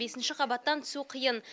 бесінші қабаттан түсу қиын